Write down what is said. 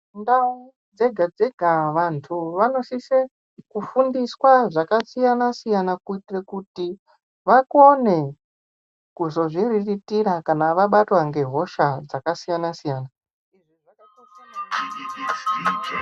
Ndau dzega dzega vantu vanosise kufundiswa zvakasiyana siyana kuti vakone kuzozviriritira kana vabatwa ngehosha dzakasiyana siyana.